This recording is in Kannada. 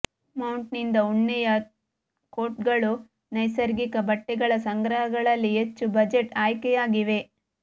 ಮೌಟನ್ದಿಂದ ಉಣ್ಣೆಯ ಕೋಟ್ಗಳು ನೈಸರ್ಗಿಕ ಬಟ್ಟೆಗಳ ಸಂಗ್ರಹಗಳಲ್ಲಿ ಹೆಚ್ಚು ಬಜೆಟ್ ಆಯ್ಕೆಯಾಗಿವೆ